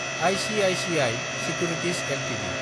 ICICI securities Ltd